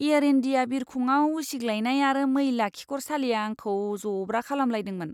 Air India बिरखंआव उसिग्लायनाय आरो मैला खिखरसालिया आंखौ जब्रा खालामलायदोंमोन!